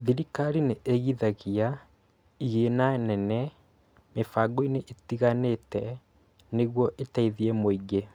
Thirikari nĩigithagia igĩna nene mĩbangoinĩ ĩtiganĩte nĩguo ĩteithie mũingĩ